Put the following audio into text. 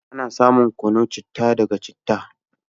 Ana samun kunun chittah ɗaga chittah.